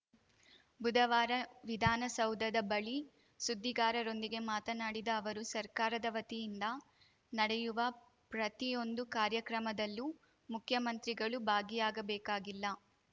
ಬುಧವಾರ ವಿಧಾನಸೌಧದ ಬಳಿ ಸುದ್ದಿಗಾರರೊಂದಿಗೆ ಮಾತನಾಡಿದ ಅವರು ಸರ್ಕಾರದ ವತಿಯಿಂದ ನಡೆಯುವ ಪ್ರತಿಯೊಂದು ಕಾರ್ಯಕ್ರಮದಲ್ಲೂ ಮುಖ್ಯಮಂತ್ರಿಗಳು ಭಾಗಿಯಾಗಬೇಕಾಗಿಲ್ಲ